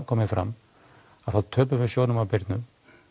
komið fram þá töpum við sjónum að Birnu